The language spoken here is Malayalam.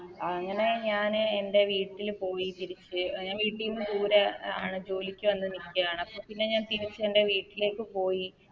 അങ്ങനെ ഞാന് എൻറെ വീട്ടില് പോയി തിരിച്ച് അഹ് ഞ വീട്ടീന്ന് ദൂരെ ആണ് ജോലിക്ക് വന്ന് നീക്കാണ് അപ്പൊ പിന്നെ ഞാൻ തിരിച്ച് എൻറെ വീട്ടിലേക്ക് പോയി